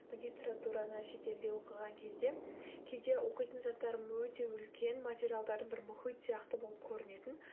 магистратураны шетелде оқыған кезде кейде оқитын заттарым өте үлкен материалдарым бір мұхит сияқты болып көрінетін